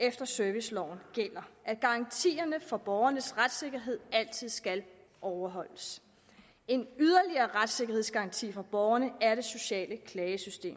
efter serviceloven gælder at garantierne for borgernes retssikkerhed altid skal overholdes en yderligere retssikkerhedsgaranti for borgerne er det sociale klagesystem